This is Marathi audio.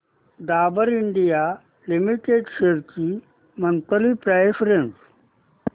डाबर इंडिया लिमिटेड शेअर्स ची मंथली प्राइस रेंज